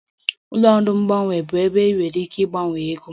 Ụlọ ọrụ mgbanwe bụ ebe ị nwere ike ịgbanwe ego